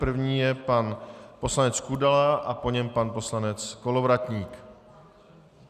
První je pan poslanec Kudela a po něm pan poslanec Kolovratník.